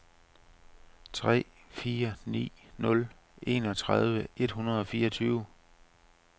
tre fire ni nul enogtredive et hundrede og fireogtyve